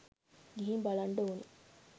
ගිහින් බලන්ඩ ඕනි